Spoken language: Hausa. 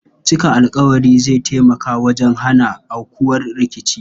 Cika alƙawari zai tamaka wajen hana aukuwar rikici.